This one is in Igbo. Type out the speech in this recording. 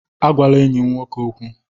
Agwala enyi m nwoke okwu!